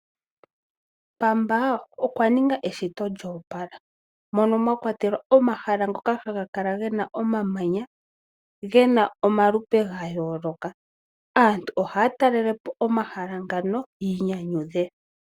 Mpamba okwa ninga eshito lya opala mono mwa kwatelwa omahala ngoka haha Kala gena omamanya , gena omalupe yayooloka. Aantu ohaya talelepo omahala ngano yi inyanyudhe.